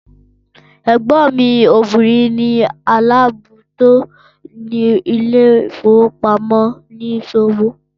Ẹgbọn mi obìrin ni alábòójútó ilé ìfowópamọ́ oníṣòwò